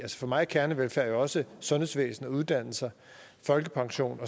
for mig er kernevelfærd jo også sundhedsvæsenet uddannelser folkepension